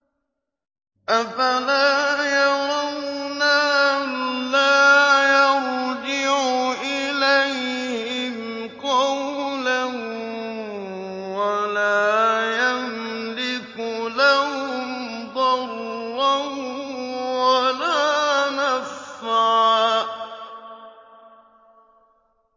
أَفَلَا يَرَوْنَ أَلَّا يَرْجِعُ إِلَيْهِمْ قَوْلًا وَلَا يَمْلِكُ لَهُمْ ضَرًّا وَلَا نَفْعًا